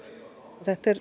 þetta er